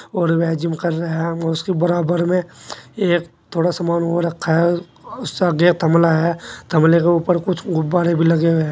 और वह जिम कर रहे हैं उसके बराबर में एक थोड़ा सामान वो रखा है उसका आगे थमला है थमले के ऊपर कुछ गुब्बारे भी लगे हुए है।